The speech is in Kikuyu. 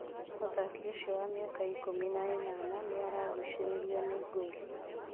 Mũthaki ũcio wa mĩaka ikũmi na ĩnana nĩaragucĩrĩrio nĩ Gor.